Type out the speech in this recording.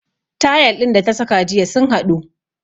Tayal din da ta saka jiya sun haɗu